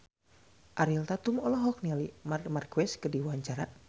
Ariel Tatum olohok ningali Marc Marquez keur diwawancara